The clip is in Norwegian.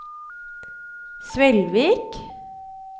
Svelvik